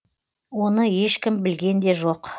оны ешкім білген де жоқ